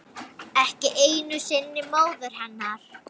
Ekki einu sinni móður hennar.